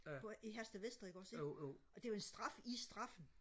på i Herstedvester ikke også ikke og det var en straf i straffen